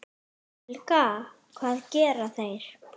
Helga: Hvað gera þeir?